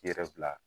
K'i yɛrɛ bila